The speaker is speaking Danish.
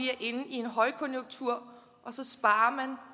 en højkonjunktur og så sparer